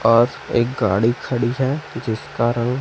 और एक गाड़ी खड़ी है जिसका रंग--